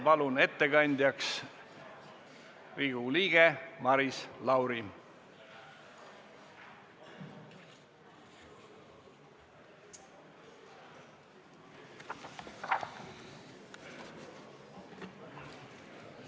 Palun ettekandjaks Riigikogu liikme Maris Lauri!